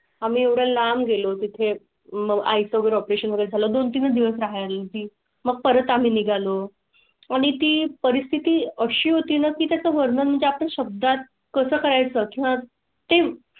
आम्ही एवढं लांब गेलो तिथे. मग आई चं ऑपरेशन वगैरे झाला. दोन तीन दिवस राहील ती मग परत आम्ही निघालो आणि ती परिस्थिती अशी होती. नक्की. त्या चं वर्णन म्हणजे आपण शब्दात कसं करायचं ते.